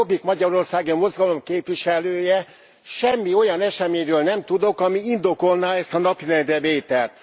Mint a Jobbik Magyarországért Mozgalom képviselője, semmi olyan eseményről nem tudok, ami indokolná ezt a napirendre vételt.